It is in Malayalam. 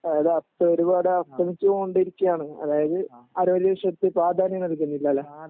അതായത് അസ്തമിച്ചോണ്ടിരിക്കണ് അതായത് വിഷയത്തി പ്രാധാന്യം നല്കുനില്ലല്ലോ